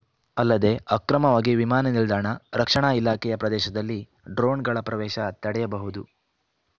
ಅಲ್ಲದೇ ಅಕ್ರಮವಾಗಿ ವಿಮಾನ ನಿಲ್ದಾಣ ರಕ್ಷಣಾ ಇಲಾಖೆಯ ಪ್ರದೇಶದಲ್ಲಿ ಡ್ರೋನ್‌ಗಳ ಪ್ರವೇಶ ತಡೆಯಬಹುದು